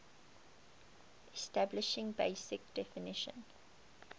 establishing basic definition